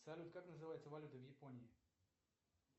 салют как называется валюта в японии